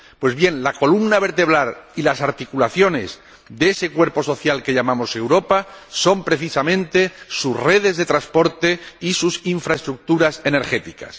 Pues bien, la columna vertebral y las articulaciones de ese cuerpo social que llamamos Europa son precisamente sus redes de transporte y sus infraestructuras energéticas.